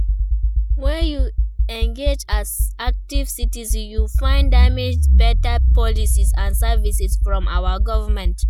When we engage as active citizens, we fit demand beta policies and services from our government.